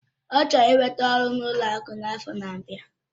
Ọ chọrọ ị nweta ọrụ n'ụlọ akụ n'afọ n'abia.